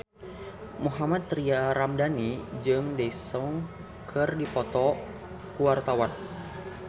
Mohammad Tria Ramadhani jeung Daesung keur dipoto ku wartawan